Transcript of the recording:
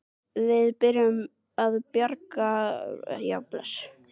Við verðum að bjarga börnunum æpti